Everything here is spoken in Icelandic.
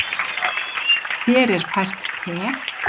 Þér er fært te.